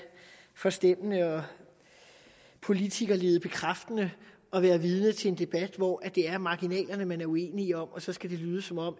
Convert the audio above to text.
forstemmende og politikerledebekræftende at være vidne til en debat hvor det er marginalerne man er uenige om og så skal det lyde som om